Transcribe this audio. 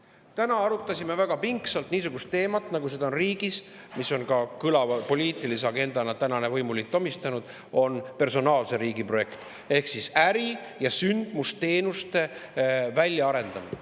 Täna arutasime väga pingsalt niisugust teemat, nagu seda on – selle on kõlava poliitilise agendana tänane võimuliit omistanud – personaalse riigi projekt ehk siis äri- ja sündmusteenuste väljaarendamine.